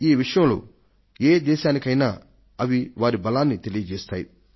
ఈ విషయంలో ఏ దేశానికైనా అవి వారి బలాన్ని తెలియజేస్తాయి